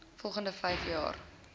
volgende vyf jaar